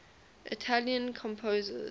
italian composers